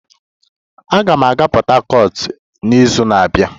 Aga m aga Port Harcourt n'izu na-abịa